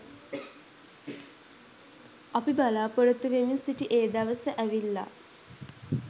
අපි බලාපොරොත්තු වෙමින් සිටි ඒ දවස ඇවිල්ලා